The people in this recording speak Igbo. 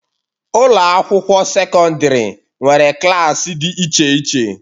Ụlọ akwụkwọ sekọndrị nwere klaasị dị iche iche.